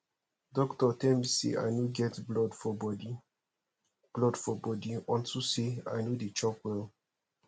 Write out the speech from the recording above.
doctor tell me say i no get blood for body blood for body unto say i no dey chop well